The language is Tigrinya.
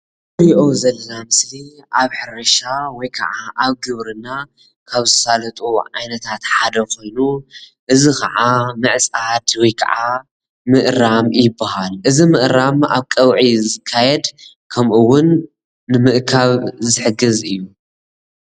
እዚ ምስሊ ሕርሻ ቦታ ኾይኑ ምዕፃድ ወይ ምእራም ጣፍ ዝሰርሑ ሓረስቶት የርኢ።